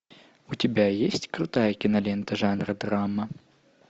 у тебя есть крутая кинолента жанра драма